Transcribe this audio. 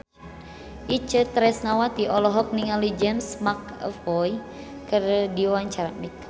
Itje Tresnawati olohok ningali James McAvoy keur diwawancara